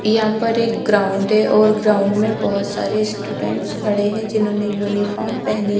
यहा पर एक ग्राउंड है और ग्राउंड में बोहोत सारे स्टूडेंटस खड़े है जिम्होने युनिफोर्म पहनी --